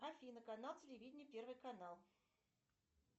афина канал телевидения первый канал